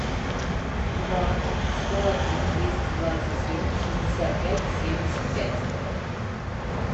два сто один двести двадцать семь шестьдесят пять семьдесят пять